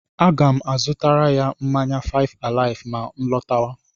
A ga m azutara ya mmanya fáịf àláịfụ mà nlọtáwá